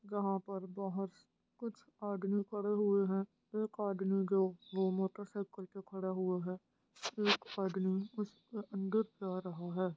यहाँ पर बहुत कुछ आदमी खड़े हुए हैं| एक आदमी जो वो मोटरसाइकल पर खड़ा हुआ है एक आदमी उसके अंदर जा रहा है।